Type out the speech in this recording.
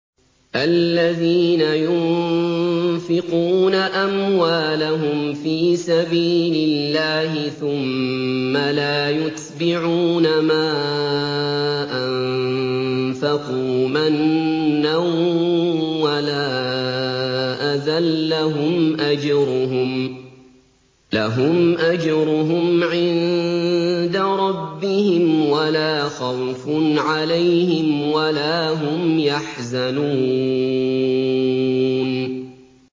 الَّذِينَ يُنفِقُونَ أَمْوَالَهُمْ فِي سَبِيلِ اللَّهِ ثُمَّ لَا يُتْبِعُونَ مَا أَنفَقُوا مَنًّا وَلَا أَذًى ۙ لَّهُمْ أَجْرُهُمْ عِندَ رَبِّهِمْ وَلَا خَوْفٌ عَلَيْهِمْ وَلَا هُمْ يَحْزَنُونَ